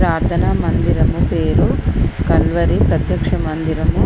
ప్రార్థన మందిరము పేరు కల్వరి ప్రత్యక్ష మందిరము.